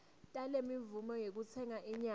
talemvumo yekutsenga inyama